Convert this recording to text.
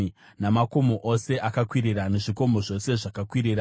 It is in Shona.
namakomo ose akakwirira, nezvikomo zvose zvakakwirira,